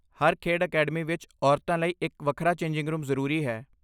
ਹਰ ਖੇਡ ਅਕੈਡਮੀ ਵਿੱਚ ਔਰਤਾਂ ਲਈ ਇੱਕ ਵੱਖਰਾ ਚੇਂਜਿੰਗ ਰੂਮ ਜ਼ਰੂਰੀ ਹੈ।